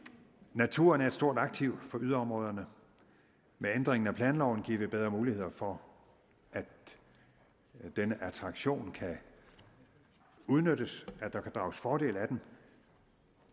naturen er et stort aktiv for yderområderne med ændringen af planloven giver vi bedre muligheder for at denne attraktion kan udnyttes at der kan drages fordel af den